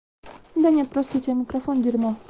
да нет просто у тебя микрофон дерьмо